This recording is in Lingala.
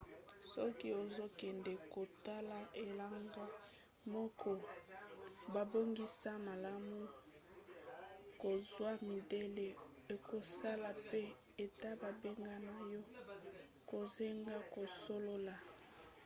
soki ozokende kotala elanga moko babongisa malamu kozwa midele ekosala mpe ete babengana yo kozanga kosolola